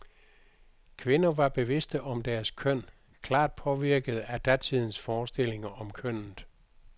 Kvinder var bevidste om deres køn, klart påvirkede af datidens forestillinger om kønnet.